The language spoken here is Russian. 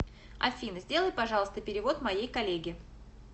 афина сделай пожалуйста перевод моей коллеге